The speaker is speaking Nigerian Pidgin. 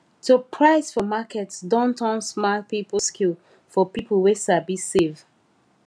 to price for market don turn smart people skill for people wey sabi save